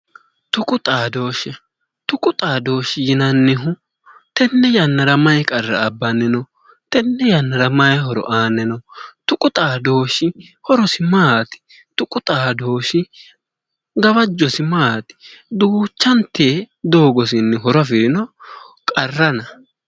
Tuqu xadooshshe tuqu xadooshshi yinannihu tenne yannara maayi qarra abbanni no? Tenne yannara maayi horo aanni no? Tuqu xadooshshi horosi maati? Tuqu xadooshshi gawajjosi maati? Duuchante doogonni horo afirino qarrana?